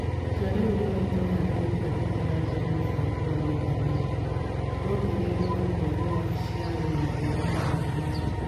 Itua rĩu rĩoĩtũo harĩ "gũtwarithia na mbere mũbango wa ũigananu". Kwongereirũo ũguo nĩ wabici ya rũhonge rwa maũndũ ma nja.